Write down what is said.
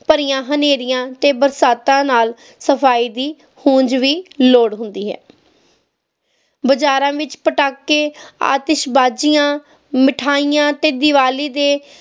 ਭਰੀਆਂ ਹਨੇਰੀਆਂ ਤੇ ਬਰਸਾਤਾਂ ਨਾਲ ਸਫਾਈ ਦੀ ਉਂਝ ਵੀ ਲੋੜ ਹੁੰਦੀ ਹੈ ਬਜਾਰਾਂ ਵਿਚ ਪਟਾਕੇ ਆਤਿਸ਼ਬਾਜ਼ੀਆਂ ਮਿਠਾਈਆਂ ਤੇ ਦੀਵਾਲੀ ਦੇ